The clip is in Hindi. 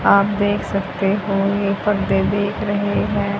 आप देख सकते हो ये पर्दे देख रहे हैं।